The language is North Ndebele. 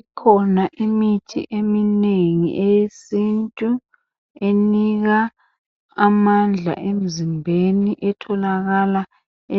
Ikhona imithi eminengi, eyesintu, enika amandla emzimbeni, etholakala